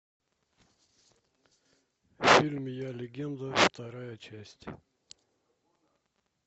фильм я легенда вторая часть